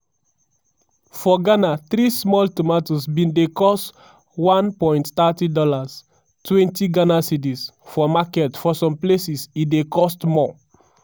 for ghana three small tomatoes bin dey cost $1.30 (gh ¢ 20) for market for some places e dey cost more.